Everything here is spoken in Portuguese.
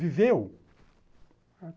Viveu!